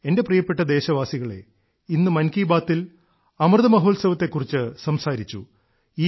എന്റെ പ്രിയപ്പെട്ട ദേശവാസികളേ ഇന്ന് മൻ കീ ബാത്തിൽ അമൃതമഹോത്സവത്തെ കുറിച്ച് സംസാരിച്ചു